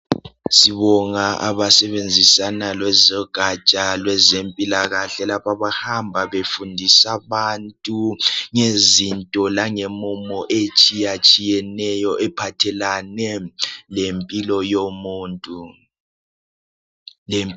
Sibonga abasebenzisana lezogatsha lwezempilakahle lapho abahamba befundisa abantu ngezinto lange mumo etshiya tshiyeneyo ephathelane lempilo yomuntu.